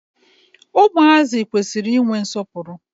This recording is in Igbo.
Ụmụazị kwesiri I nwe nsọpụrụ.